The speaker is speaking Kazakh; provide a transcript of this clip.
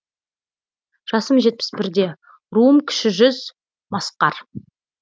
жасым жетпіс бірде руым кіші жүз масқар